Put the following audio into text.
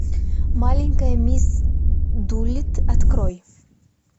маленькая мисс дулитт открой